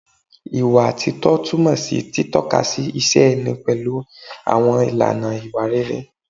Ìwà títọ́ túmọ̀ sí títọ́kasí ìṣe ẹni pẹ̀lú àwọn ìlànà ìwà rere